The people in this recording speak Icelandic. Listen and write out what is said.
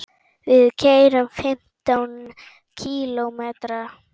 Við keyrum fimmtán kílómetra.